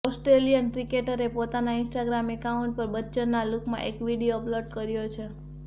Australian ક્રિકેટરે પોતાના Instagram account પર બચ્ચનના લૂકમાં એક વિડીયો અપલોડ કર્યો છે